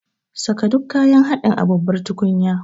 Saka duk kayan haɗin a babbar tukunya.